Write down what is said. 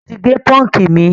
mọ tí gé punk mí.